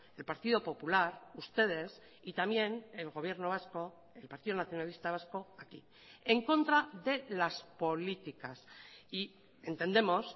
el partido popular ustedes y también el gobierno vasco el partido nacionalista vasco aquí en contra de las políticas y entendemos